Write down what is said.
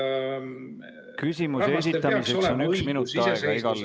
Küsimuse esitamiseks on üks minut aega igal Riigikogu liikmel.